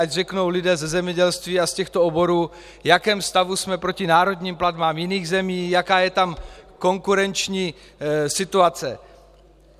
Ať řeknou lidé ze zemědělství a z těchto oborů, v jakém stavu jsme proti národním platbám jiných zemí, jaká je tam konkurenční situace.